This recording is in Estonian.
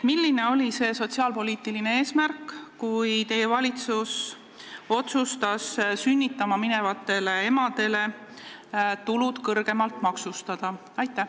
Milline oli sotsiaalpoliitiline eesmärk, kui teie valitsus otsustas sünnitama minevate emade tulud kõrgemalt maksustada?